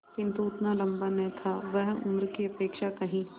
किंतु उतना लंबा न था वह उम्र की अपेक्षा कहीं